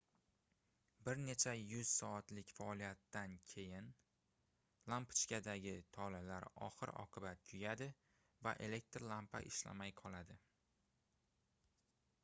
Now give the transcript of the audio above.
bir nech yuz soatlik faoliyatdan keyin lampochkadagi tolalar oxir-oqibat kuyadi va elektr lampa ishlamay qoladi